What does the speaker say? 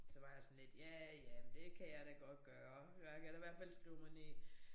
Så var jeg sådan lidt ja ja men det kan jeg da godt gøre. Jeg kan da i hvert fald skrive mig ind i